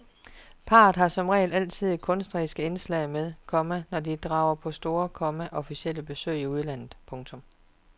Parret har som regel altid kunstneriske indslag med, komma når de drager på store, komma officielle besøg i udlandet. punktum